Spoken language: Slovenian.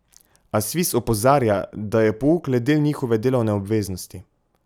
A Sviz opozarja, da je pouk le del njihove delovne obveznosti.